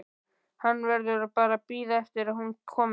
Hann verður bara að bíða eftir að hún komi.